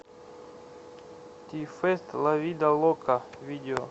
ти фест ла вида лока видео